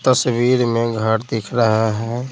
तस्वीर में घर दिख रहा है।